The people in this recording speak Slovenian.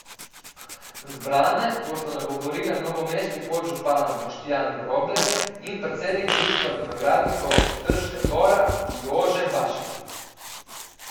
Zbrane bosta nagovorila novomeški podžupan Boštjan Grobler in predsednik Društva vinogradnikov Trška Gora Jože Bašelj.